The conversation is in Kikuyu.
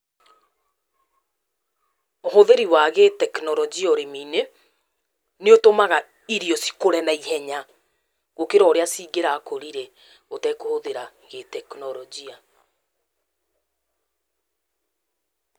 Ũhũthĩri wa gĩtekinoronjĩa ũrĩmi-inĩ, ni ũtũmaga irio cikũre na ihenya gũkĩra ũrĩa cingĩrakũrire ũtekũhũthĩra gĩtekinoronjĩa.